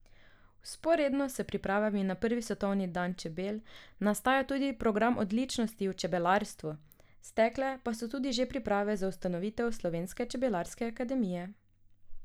Vzporedno s pripravami na prvi svetovni dan čebel nastaja tudi program odličnosti v čebelarstvu, stekle pa so tudi že priprave za ustanovitev slovenske čebelarske akademije.